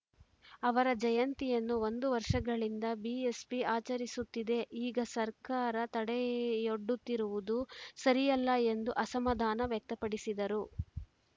ಅವರ ಜಯಂತಿಯನ್ನು ಒಂದು ವರ್ಷಗಳಿಂದ ಬಿಎಸ್‌ಪಿ ಆಚರಿಸುತ್ತಿದೆ ಈಗ ಸರ್ಕಾರ ತಡೆಯೊಡ್ಡುತ್ತಿರುವುದು ಸರಿಯಲ್ಲ ಎಂದು ಅಸಮಾಧಾನ ವ್ಯಕ್ತಪಡಿಸಿದರು